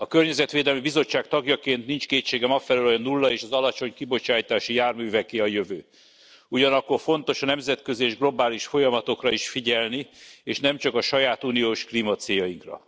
A Környezetvédelmi Bizottság tagjaként nincs kétségem afelől, hogy a 0 és az alacsony kibocsátású járműveké a jövő, ugyanakkor fontos a nemzetközi és globális folyamatokra is figyelni és nem csak a saját uniós klímacéljainkra.